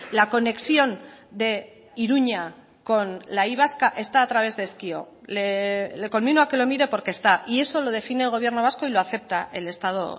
la conexión de iruña con la y vasca está a través de ezkio le conmino a que lo mire porque está y eso lo define el gobierno vasco y lo acepta el estado